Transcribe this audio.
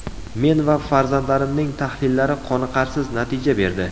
Men va farzandlarimning tahlillari qoniqarsiz natija berdi.